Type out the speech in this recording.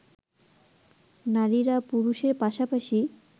নারীরা পুরুষের পাশাপাশি